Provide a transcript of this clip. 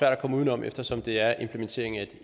at komme uden om eftersom det er implementering af et